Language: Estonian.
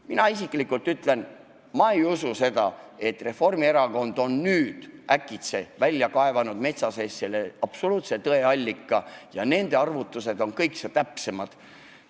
Mina ütlen, et ma ei usu seda, et Reformierakond on nüüd äkitselt metsa seest leidnud absoluutse tõe allika ja et nende arvutused on kõikse täpsemad.